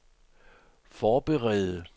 forberede